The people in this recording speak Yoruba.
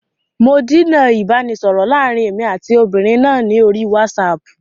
Mò díná ìbánisọọ̀rọ̀ láàrín èmi àti ọmọbìnrin náà ni orí wásààpù.